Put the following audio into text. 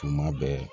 Tuma bɛɛ